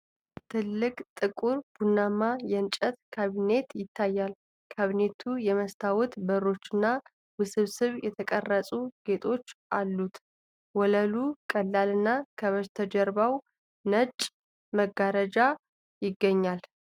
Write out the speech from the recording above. ትልቅ፣ ጥቁር ቡናማ የእንጨት ካቢኔት ይታያል። ካቢኔቱ የመስታወት በሮችና ውስብስብ የተቀረጹ ጌጦች አሉት። ወለሉ ቀላልና ከበስተጀርባው ነጭ መጋረጃ ይገኛል ።